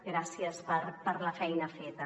gràcies per la feina feta